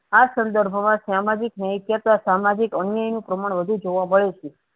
આ સન્દર્ભમાં સામાજિક ન્યાય કરતા સામાજિક અન્યાય નું પ્રમાણ વધુ જોવા મળે છે.